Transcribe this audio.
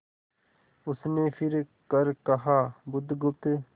उसने फिर कर कहा बुधगुप्त